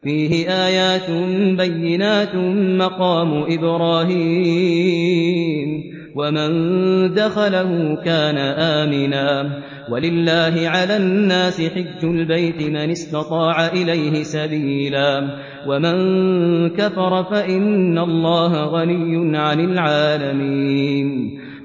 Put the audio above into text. فِيهِ آيَاتٌ بَيِّنَاتٌ مَّقَامُ إِبْرَاهِيمَ ۖ وَمَن دَخَلَهُ كَانَ آمِنًا ۗ وَلِلَّهِ عَلَى النَّاسِ حِجُّ الْبَيْتِ مَنِ اسْتَطَاعَ إِلَيْهِ سَبِيلًا ۚ وَمَن كَفَرَ فَإِنَّ اللَّهَ غَنِيٌّ عَنِ الْعَالَمِينَ